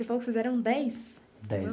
E você falou que vocês eram dez? Dez.